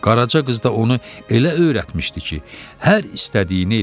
Qaraca qız da onu elə öyrətmişdi ki, hər istədiyini eləyirdi.